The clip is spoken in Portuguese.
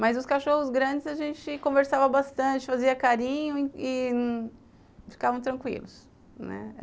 Mas os cachorros grandes a gente conversava bastante, fazia carinho e e ficavam tranquilos, né.